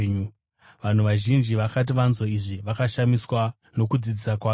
Vanhu vazhinji vakati vanzwa izvi, vakashamiswa nokudzidzisa kwake.